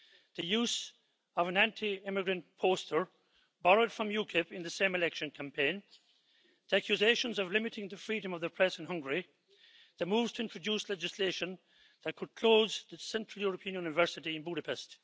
the use of an anti immigrant poster, borrowed from UKIP, in the same election campaign the accusations of limiting the freedom of the press in Hungary and the moves to introduce legislation that could close the Central European University in Budapest.